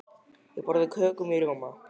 Ég borða köku með rjóma.